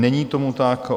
Není tomu tak.